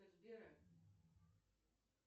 сбера